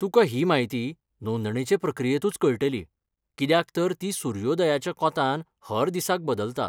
तुका ही म्हायती नोंदणेचे प्रक्रियेंतूच कळटली, कित्याक तर ती सूर्योदयाच्या कोंतान हर दिसाक बदलता.